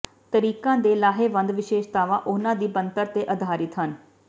ਤਰੀਕਾਂ ਦੇ ਲਾਹੇਵੰਦ ਵਿਸ਼ੇਸ਼ਤਾਵਾਂ ਉਹਨਾਂ ਦੀ ਬਣਤਰ ਤੇ ਆਧਾਰਿਤ ਹਨ